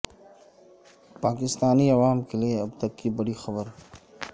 پا کستانی عوام کیلئے اب تک کی بڑی خبر